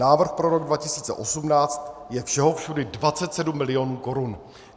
Návrh pro rok 2018 je všeho všudy 27 mil. korun.